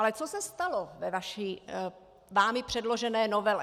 Ale co se stalo ve vámi předložené novele?